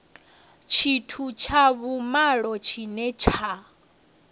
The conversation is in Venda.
tshithu tsha vhumalo tshine tsha